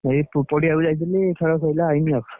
ଏଇ ପଡ଼ିଆକୁ ଯାଇଥିଲି ଖେଳ ସଇଲା ଆଇଲି ଆଉ!